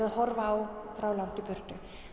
að horfa á frá langt í burtu